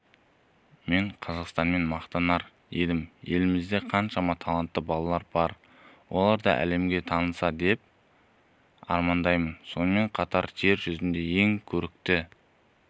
мен қазақстаныммен мақтанар едім елімізде қаншама талантты балалар бар олар да әлемге танылса деп армандаймын сонымен қатар жер жүзіндегі ең көрікті